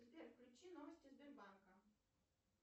сбер включи новости сбербанка